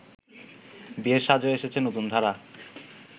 বিয়ের সাজেও এসেছে নতুনধারা